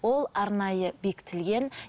ол арнайы бекітілген